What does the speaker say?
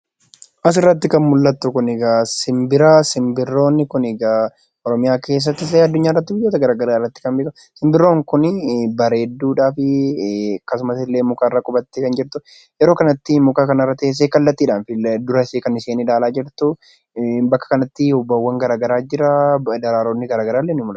Asirratti kan mul'attu kun simbira. Simbirroon kun egaa oromiyaa keessatti addunyaa keessatti biyyoota garaagaraa keessatti kan beekamu simbirroon kun bareedduu fi akkasumas illee mukarra qubattee kan jirtu yeroo kanatti muka kanarra teessee kallattiidhaan fuuldura ishee kan ilaalaa jirtu bakka kanatti daraaronni garaagaraallee ni mul'atu.